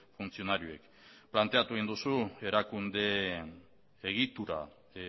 funtzionarioek planteatu egin duzu erakunde egitura